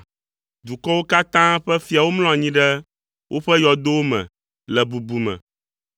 Dukɔwo katã ƒe fiawo mlɔ anyi ɖe woƒe yɔdowo me le bubu me.